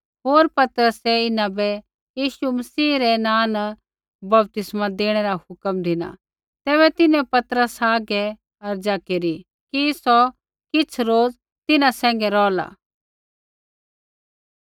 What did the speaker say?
होर पतरसै इन्हां बै यीशु मसीह रै नाँ न बपतिस्मा देणै रा हुक्म धिना तैबै तिन्हैं पतरसा हागै अर्ज़ा केरी कि सौ किछ़ रोज़ तिन्हां सैंघै रौहला